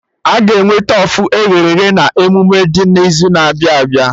Aga enwe nnukwu tofu e ghere eghe na emume dị n'izu na-abịa abịa